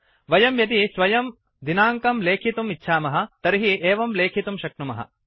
वयं यदि स्वयं दिनाङ्कं लेखितुम् इच्छामः तर्हि एवं लेखितुं शक्नुमः